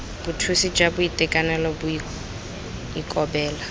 bothusi jwa boitekanelo bo ikobela